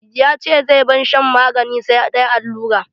Ya ce zai bar shan magani, sai dai allura.